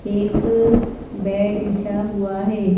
एकबेड बिछा हुआ है।